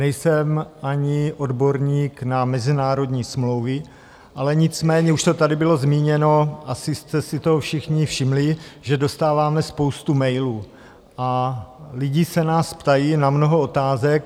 Nejsem ani odborník na mezinárodní smlouvy, ale nicméně už to tady bylo zmíněno, asi jste si toho všichni všimli, že dostáváme spoustu mailů a lidi se nás ptají na mnoho otázek.